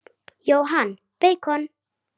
Jóhann: Beikon?